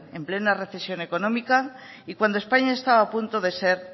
en plena recesión económico y cuando españa estaba a punto de ser